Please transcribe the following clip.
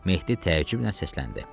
Mehdi təəccüblə səsləndi.